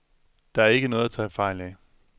Der er ikke noget at tage fejl af.